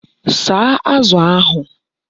Saa Azu ahu